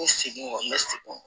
N bɛ segin kɔni n bɛ segin